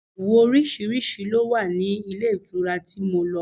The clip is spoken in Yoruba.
Ìyẹ̀wù oríṣiríṣi ló wà ní ilé ìtura tí mo lọ.